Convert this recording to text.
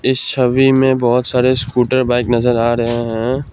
इस छबि में बहोत सारे स्कूटर बाइक नजर आ रहे हैं।